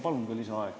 Palun lisaaega!